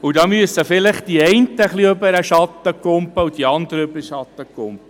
Dabei müssen vielleicht die einen und die anderen ein wenig über den Schatten springen.